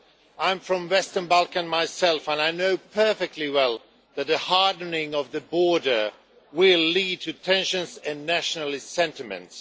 I am from the Western Balkans myself and I know perfectly well that a hardening of the border will lead to tensions and nationalist sentiments.